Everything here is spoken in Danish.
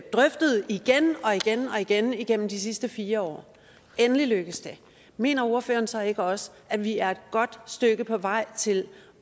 drøftet igen og igen igennem de sidste fire år og endelig lykkes det mener ordføreren så ikke også at vi er godt på vej til